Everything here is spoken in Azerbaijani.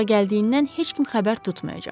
Ora gəldiyindən heç kim xəbər tutmayacaq.